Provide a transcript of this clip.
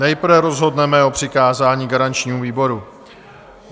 Nejprve rozhodneme o přikázání garančnímu výboru.